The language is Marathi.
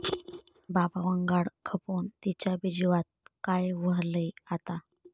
बाबावंगाड खपोन तिच्याबी जीवात काय ऱ्हायलंय आता?